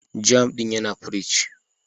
"Jam" din yana pirig.